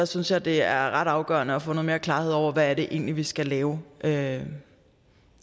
synes jeg det er ret afgørende at få noget mere klarhed over hvad det egentlig er vi skal lave lave